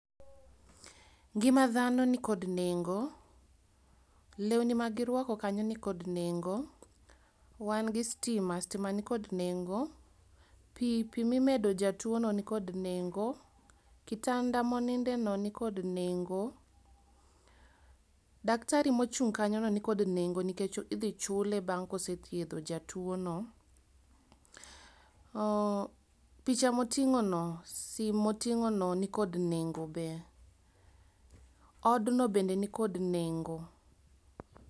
Ngima dhano nikod nengo. Lewni magirwako kanyo nikod nengo. Wan gi stima, stima nikod nengo. Pi, pi mimedo jatuono nikod nengo. Kitanda monindeno nikod nengo. Daktari mochung' kanyono nikod nengo nikech idhi chule bang' kosethiedho jatuono. Oh picha moting'ono sim moting'ono nikod nengo be. Odno bende nikod nengo.